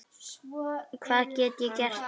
Hvað get ég gert núna?